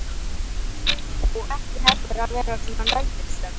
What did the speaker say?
Og ekki heldur að vera svona nöldursöm.